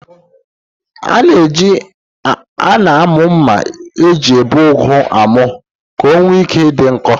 A na-amụ mma eji ebi ụgụ amụ ka o nwee ike idị nkọ.